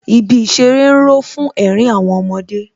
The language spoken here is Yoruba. Ibi ìṣeré ń ró fún ẹ̀rín àwọn ọmọdé